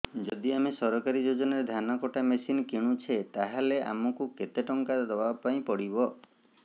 ଯଦି ଆମେ ସରକାରୀ ଯୋଜନାରେ ଧାନ କଟା ମେସିନ୍ କିଣୁଛେ ତାହାଲେ ଆମକୁ କେତେ ଟଙ୍କା ଦବାପାଇଁ ପଡିବ